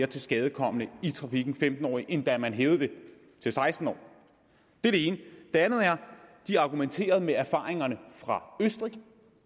tilskadekomne i trafikken end da man hævede den til seksten år det er det ene det andet er at de argumenterede med erfaringerne fra østrig